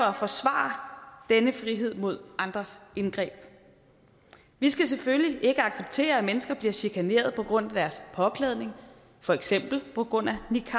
at forsvare denne frihed mod andres indgreb vi skal selvfølgelig ikke acceptere at mennesker bliver chikaneret på grund af deres påklædning for eksempel på grund af niqab